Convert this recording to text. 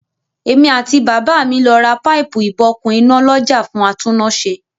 Èmi àti bàbá mi lọ ra páìpù-ìbokùn iná lọ́jà fún atúnnáṣe.